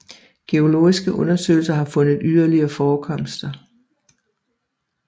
Geologiske undersøgelser har fundet yderligere forekomster